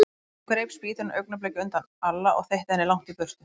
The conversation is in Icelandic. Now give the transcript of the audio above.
Hún greip spýtuna augnabliki á undan Alla og þeytti henni langt í burtu.